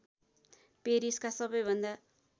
पेरिसका सबैभन्दा